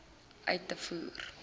uit te voer